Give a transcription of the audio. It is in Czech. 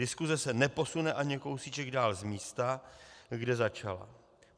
Diskuse se neposune ani kousíček dál z místa, kde začala.